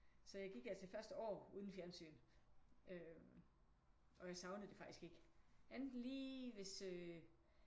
Så jeg gik altså det første år uden fjernsyn øh og jeg savnede det faktisk ikke enten lige hvis øh